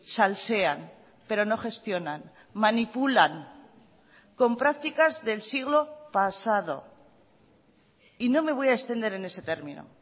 salsean pero no gestionan manipulan con prácticas del siglo pasado y no me voy a extender en ese término